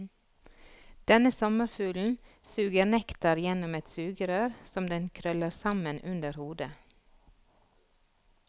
Denne sommerfuglen suger nektar gjennom et sugerør som den krøller sammen under hodet.